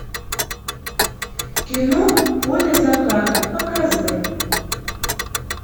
кино поле заката показывай